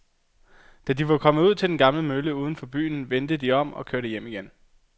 Da de var kommet ud til den gamle mølle uden for byen, vendte de om og kørte hjem igen.